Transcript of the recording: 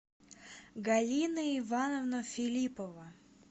галина ивановна филиппова